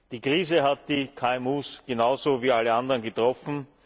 Die Krise hat die KMU genauso wie alle anderen getroffen.